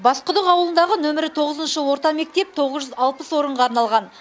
басқұдық ауылындағы нөмірі тоғызыншы орта мектеп тоғыз жүз алпыс орынға арналған